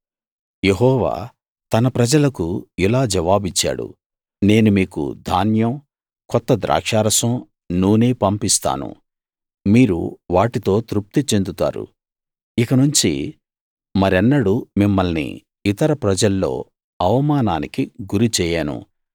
యెహోవా తన ప్రజలకు ఇలా జవాబిచ్చాడు నేను మీకు ధాన్యం కొత్త ద్రాక్షారసం నూనె పంపిస్తాను మీరు వాటితో తృప్తి చెందుతారు ఇకనుంచి మరెన్నడూ మిమ్మల్ని ఇతర ప్రజల్లో అవమానానికి గురిచేయను